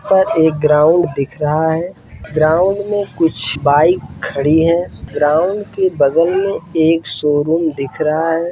और एक ग्राउन्ड दिख रहा है ग्राउन्ड में कुछ बाइक खड़ी हैं ग्राउन्ड के बगल में एक शोरूम दिख रहा है।